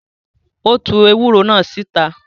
Ó tu ewúro náà síta.